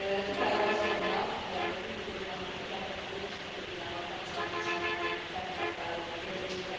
Ticau asszonynak, illetve Rubiks úrnak, mind a ketten a Duna stratégiával kapcsolatosan tettek fel kérdést.